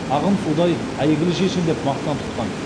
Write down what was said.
ағын судай әйгілі шешен деп мақтан тұтқан